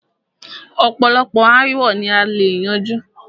ọ̀pọ̀lọpọ̀ aàwo ni a lè yanjú.